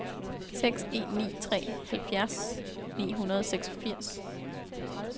seks en ni tre halvfjerds ni hundrede og seksogfirs